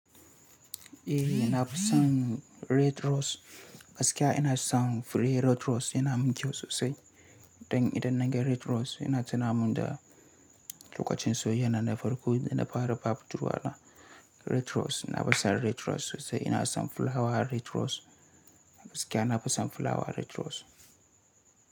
Eh, na fi son red rose. Gaskiya ina son red rose yana min kyau sosai. Idan na ga red rose yana ta na mun da lokacin soyayya na farko da na fara ba budurwa na. Red rose, na fi son red rose sosai. Ina son fulawa red rose. Gaskiya na fi son fulawa red rose.